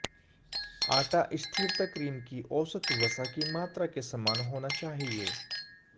आटा स्थिरता क्रीम की औसत वसा की मात्रा के समान होना चाहिए